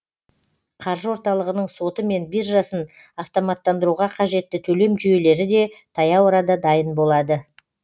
қаржы орталығының соты мен биржасын автоматтандыруға қажетті төлем жүйелері де таяу арада дайын болады